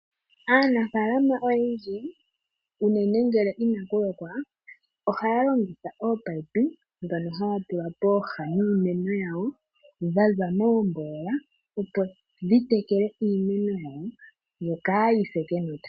Aanafalama oyendji uunene ngele inakulokwa, ohayalongitha oopayipi dhono hayatula poha niiimeno yawo, dha zamoogolola opodhitekele iimeno yawo yokayise kenota.